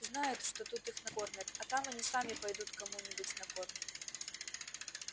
знают что тут их накормят а там они сами пойдут кому-нибудь на корм